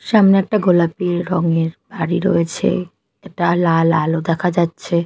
সামনে একটা গোলাপী রং এর বাড়ি রয়েছে একটা লাল আলো দেখা যাচ্ছে।